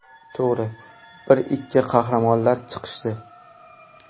To‘g‘ri, bir-ikki qahramonlar chiqishdi.